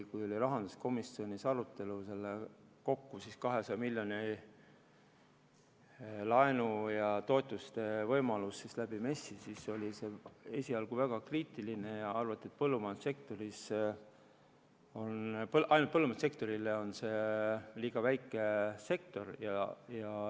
Kui rahanduskomisjonis oli MES-i meetme arutelu – kokku siis 200 miljoni euro laenu ja toetuste taotlemise võimalus – siis oldi esialgu väga kriitilised ja arvati, et põllumajandussektor on liiga väike sektor.